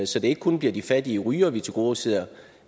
så det ikke kun bliver de fattige rygere vi tilgodeser